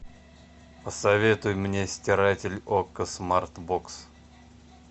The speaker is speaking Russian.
посоветуй мне стиратель окко смарт бокс